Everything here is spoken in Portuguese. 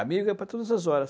Amigo é para todas as horas.